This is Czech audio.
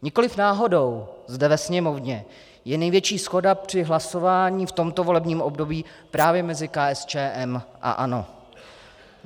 Nikoliv náhodou zde ve Sněmovně je největší shoda při hlasování v tomto volebním období právě mezi KSČM a ANO.